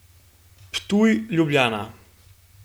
Ptuj, Ljubljana.